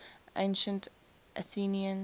ancient athenians